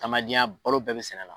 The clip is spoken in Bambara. Tamadenya balo bɛɛ be sɛnɛ la